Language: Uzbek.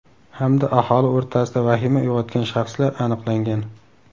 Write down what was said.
Hamda aholi o‘rtasida vahima uyg‘otgan shaxslar aniqlangan.